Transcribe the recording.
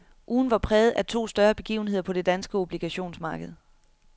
Ugen var præget af to større begivenheder på det danske obligationsmarked.